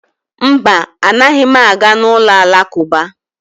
Mba, anaghị m aga n'ụlọ Alakụba